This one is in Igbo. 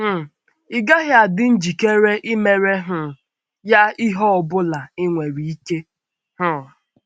um Ị́ gaghị adị njikere imere um ya ihe ọ bụla i nwere ike? um